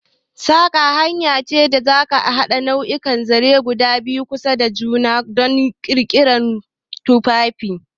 Saƙa hanya ce ta haɗa nau'ikan zaren guda biyu a kusa da juna don ƙirƙirar tufafi.